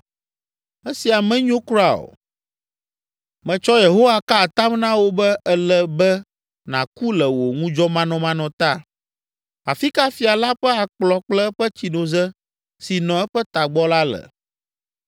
Esia menyo kura o! Metsɔ Yehowa ka atam na wò be ele be nàku le wò ŋudzɔmanɔmanɔ ta. Afi ka fia la ƒe akplɔ kple eƒe tsinoze si nɔ eƒe tagbɔ la le?”